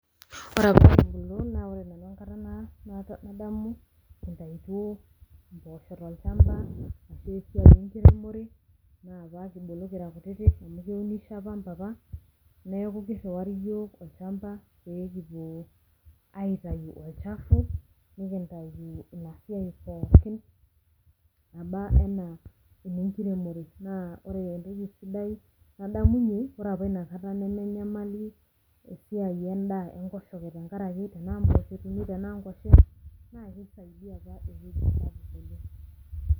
Ore apa kibulu na ore nanu enkata nadamu kintayutuo impoosho tolchamba ashu esiai enkiremore, na ore apa kibulu kutitik amu keunisho apa mpapa, neeku kirriwari yiok olchamba pekipuo aitayu olchafu, nikintayu inasiai pookin naba enaa enenkiremore, naa ore entoki sidai nadamunye, na ore apa nakata nemenyamali esiai endaa enkoshoke tenkaraki tenaa mpoosho etumi tenaa nkwashen, na kisaidia apa ewueji sapuk oleng.